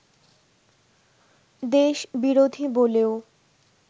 দেশ বিরোধী বলেও